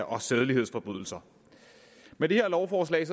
og sædelighedsforbrydelser med det her lovforslag